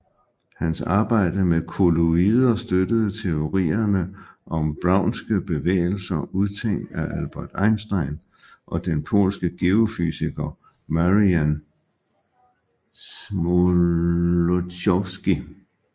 Hans arbejde med kolloider støttede teorierne om Brownske bevægelser udtænkt af Albert Einstein og den polske geofysiker Marian Smoluchowski